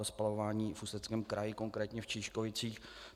To spalování v Ústeckém kraji, konkrétně v Čížkovicích.